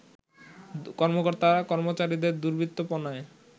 কর্মকর্তা-কর্মচারীদের দৃর্বৃত্তপনায়